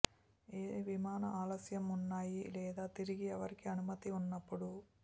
ఏ విమాన ఆలస్యం ఉన్నాయి లేదా తిరిగి ఎవరికీ అనుమతి ఉన్నప్పుడు